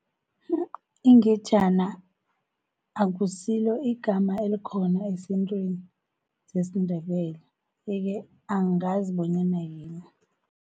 Ingejana akusilo igama elikhona ezintrweni zesiNdebele, yeke angazi bonyana yini.